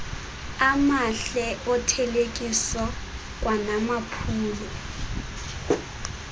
amahle othelekiso kwanamaphulo